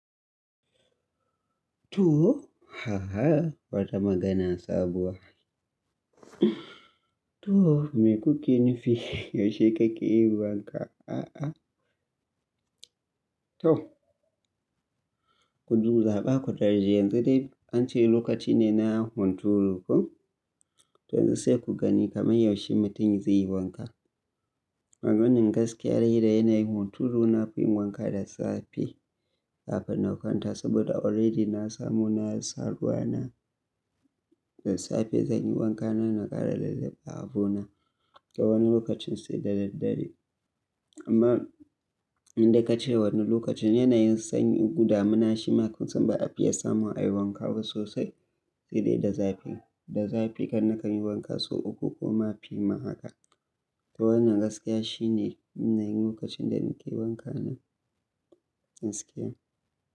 To, haha wata magana sabuwa. To, me kuke nufi? Yaushe kake yi wanka? A'a. To, ku zo za a ba ku darji. Yanzu dai an ce lokaci ne na hunturu ko? To yanzu sai ku gani kamar yaushe mutum zai yi wanka. Maganan gaskiya dai yana yin hunturu na fiyin wanka da safe kafin na kwanta saboda already na samu na saduwa na. Da safe zan yi wanka nan na ƙara lazzaba abona. Ga wani lokacin sai da daddare. Amma inda ka ce wani lokacin yana yin sanyi ko damuna shima kusan ba a fiya samun a yi wanka ba sosai. Sai dai da zafi. Da zafi kan na ka yi wanka sau uku ko mafi ma haka. To wannan gaskiya shi ne na yi lokacin da nake wanka na gaskiya.